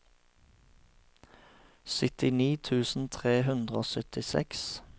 syttini tusen tre hundre og syttiseks